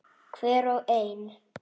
Hver og ein.